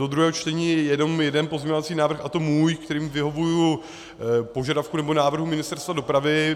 Do druhého čtení je jenom jeden pozměňovací návrh, a to můj, kterým vyhovuji požadavku, nebo návrhu Ministerstva dopravy.